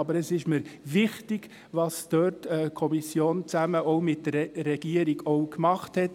Aber es ist mir wichtig, was die Kommission, auch mit der Regierung zusammen, dort gemacht hat.